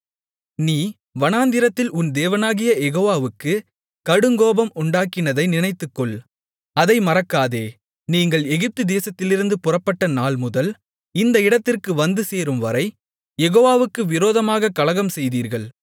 நீ வனாந்திரத்தில் உன் தேவனாகிய யெகோவாவுக்குக் கடுங்கோபம் உண்டாக்கினதை நினைத்துக்கொள் அதை மறக்காதே நீங்கள் எகிப்துதேசத்திலிருந்து புறப்பட்ட நாள்முதல் இந்த இடத்திற்கு வந்துசேரும்வரை யெகோவாவுக்கு விரோதமாகக் கலகம்செய்தீர்கள்